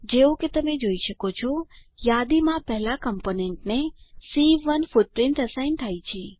જેવું કે તમે જોઈ શકો છો યાદીમાં પહેલા કમ્પોનન્ટને સી1 ફૂટપ્રીંટ એસાઈન થાય છે